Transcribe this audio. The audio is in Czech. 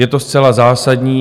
Je to zcela zásadní.